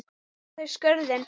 Fylla þeir skörðin?